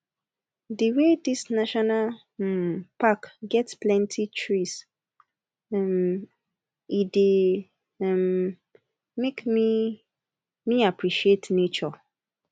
the wey this national um pack get plenty trees um e dey um make me me appreciate nature